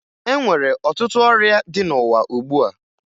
E nwere ọtụtụ ọrịa dị n'ụwa ugbua